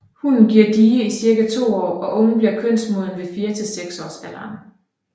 Hunnen giver die i cirka to år og ungen bliver kønsmoden ved 4 til 6 års alderen